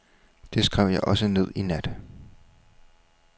Det skrev jeg også ned i nat.